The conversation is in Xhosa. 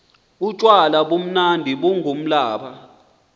utywala bumnandi bungumblaba